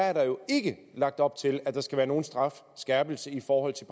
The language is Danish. er der jo ikke lagt op til at der skal være nogen strafskærpelse i forhold til